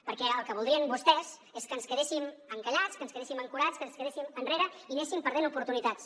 perquè el que voldrien vostès és que ens quedéssim encallats que ens quedéssim ancorats que ens quedéssim enrere i anéssim perdent oportunitats